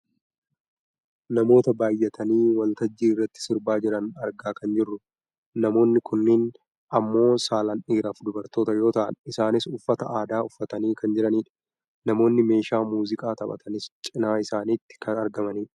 namoota baayyatanii waltajjii irratti sirbaa jiran argaa kan jirrudha. namoonni kunneen ammoo saalaan dhiiraaf dubartoota yoo ta'an isaanis uffata aadaa uffatanii kan jiranidha. namoonni meeshaa muuziqaa taphatanis cinaa isaaniitti kan argamanidha.